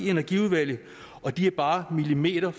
energiudvalget og de er bare millimeter